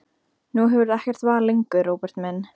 Nú hefurðu ekkert val lengur, Róbert minn.